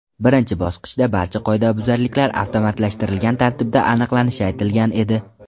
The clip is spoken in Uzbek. Birinchi bosqichda barcha qoidabuzarliklar avtomatlashtirilgan tartibda aniqlanishi aytilgan edi.